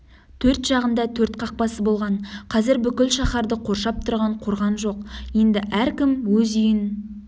төрт жағында төрт қақпасы болған қазір бүкіл шаһарды қоршап тұрған қорған жоқ енді әркім өз үйін